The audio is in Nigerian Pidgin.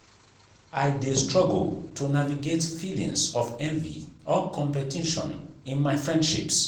i dey struggle to navigate feelings of envy or competition in my friendships.